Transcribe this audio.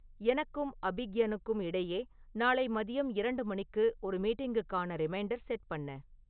எனக்கும் அபிக்யனுக்கும் இடையே நாளை மதியம் இரண்டு மணிக்கு ஒரு மீட்டிங்குக்கான ரிமைண்டர் செட் பண்ணு